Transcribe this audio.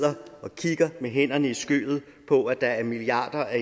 og kigge med hænderne i skødet på at der er milliarder af